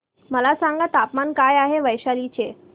मला सांगा तापमान काय आहे वैशाली चे